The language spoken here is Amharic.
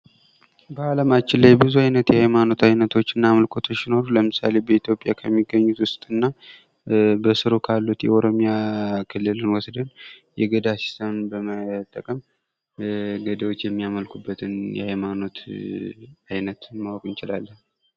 በአለማችን ላይ ብዙ አይነት ሃይማኖት እና የአምልኮ አይነቶች ሲኖሩ፤ ለምሳሌ በኢትዮጵያ ዉስጥ ከሚገኙት ዉስጥ እና በስሩ ካሉት የኦሮሚያ ክልልን ወስደን የገዳ ስራትን በመጠቀም ገዳዎች የሚያመልኩበትን ሃይማኖት አይነት ማወቅ እንችላለን።